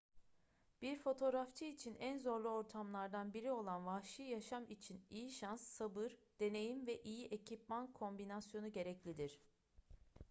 bir fotoğrafçı için en zorlu ortamlardan biri olan vahşi yaşam için iyi şans sabır deneyim ve iyi ekipman kombinasyonu gereklidir